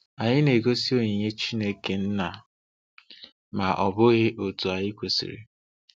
Anyị na-egosi oyiyi Chineke na, ma ọ bụghị otu anyị kwesịrị.